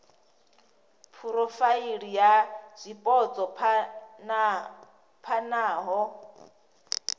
phurofaili ya zwipotso phana ha